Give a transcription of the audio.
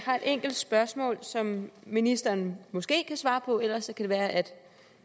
har et enkelt spørgsmål som ministeren måske kan svare på ellers kan det være at